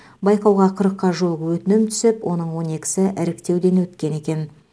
байқауға қырыққа жуық өтінім түсіп оның он екісі іріктеуден өткен екен